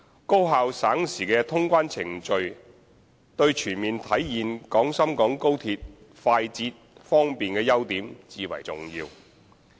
高效省時的通關程序對全面體現廣深港高鐵快捷、方便的優點至為重要。